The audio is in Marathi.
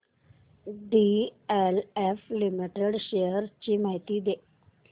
डीएलएफ लिमिटेड शेअर्स ची माहिती दे